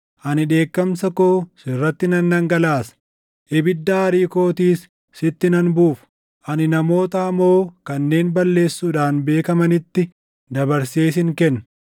Ani dheekkamsa koo sirratti nan dhangalaasa; ibidda aarii kootiis sitti nan buufa; ani namoota hamoo kanneen balleessuudhaan beekamanitti dabarsee sin kenna.